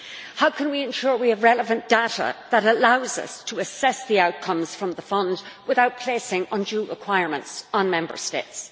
how can we ensure we have relevant data that allows us to assess the outcomes from the funds without placing undue requirements on Member States